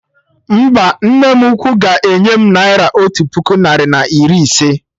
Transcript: Mba, nne m ukwu ga enye m naira otu puku narị na iri echi